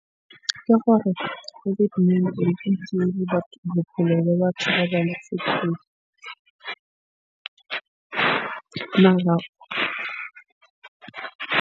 Ke gore COVID-19 e bophelo ba batho ba .